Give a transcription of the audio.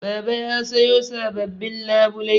Baba ya sayo sababbin labulai